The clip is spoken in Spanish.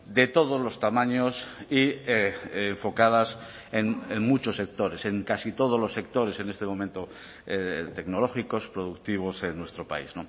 de todos los tamaños y enfocadas en muchos sectores en casi todos los sectores en este momento tecnológicos productivos en nuestro país